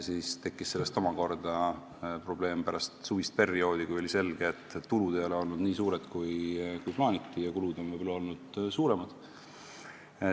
Sellest tekkis omakorda probleem pärast suvist perioodi, kui oli selge, et tulud ei ole olnud nii suured, kui plaaniti, ja kulud on võib-olla olnud suuremad.